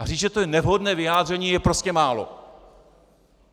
A říct, že to je nevhodné vyjádření, je prostě málo.